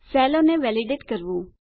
સેલોને validate કરવું